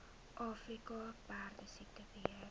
afrika perdesiekte beheer